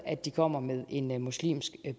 at de kommer med en en muslimsk